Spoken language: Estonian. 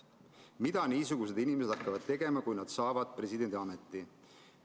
Mida niisugused inimesed hakkavad tegema, kui nad saavad presidendiameti?